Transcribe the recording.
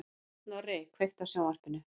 Snorri, kveiktu á sjónvarpinu.